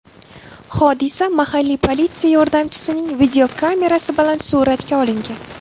Hodisa mahalliy politsiya yordamchisining videokamerasi bilan suratga olingan.